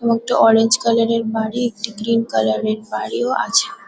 এবং একটা orange colour -এর বাড়ি একটি গ্রিন কালার -এর বাড়িও আছে।